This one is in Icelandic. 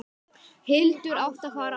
Hildur átti að fara áfram!